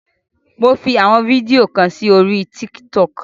Mo fi àwọn fídíò kan sí orí tíkì tọkì.